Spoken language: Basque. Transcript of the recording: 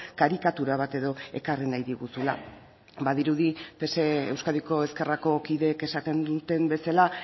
karikatura bat edo ekarri nahi diguzula badirudi pse euskadiko ezkerrako kideek esaten duten bezala